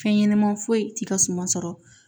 Fɛn ɲɛnɛman foyi ti ka suma sɔrɔ